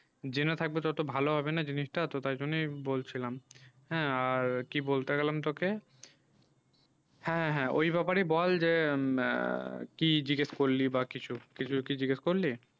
জেনে থাকবে না তত ভালো হবে না জিনিসটা তো তাই জন্যেই বলছিলাম হ্যাঁ আর কি বলতে গেলাম তোকে হ্যাঁ হ্যাঁ ঐই ব্যাপারে বল যে কি জিগেস করলি বা কিছু কিছু কি জিগেস করলি